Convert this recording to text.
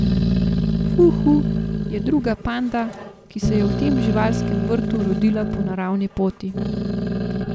Fu Hu je druga panda, ki se je v tem živalskem vrtu rodila po naravni poti.